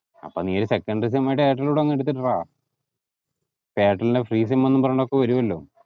അപ്പം നീ ഈ secondary sim ആയിട്ട് എയർടെൽ കൂടെ അങ്ങ് എടുത്തിടറ അപ്പൊ എയര്ടെലിന്റെ free sim എന്നും പറഞ്ഞിട്ടൊക്കെ വരൂ അല്ലോ